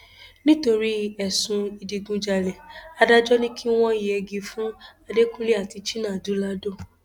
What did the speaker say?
nítorí ẹsùn ìdígunjalè adájọ ni kí wọn yẹgi fún adẹkùnlé àti chinadu lado